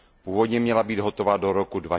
Původně měla být hotova do roku